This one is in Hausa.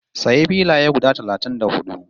Sayi filaye na guda talatin da hudu